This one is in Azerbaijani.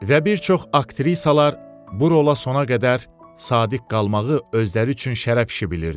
Və bir çox aktrisalar bu rola sona qədər sadiq qalmağı özləri üçün şərəf işi bilirdilər.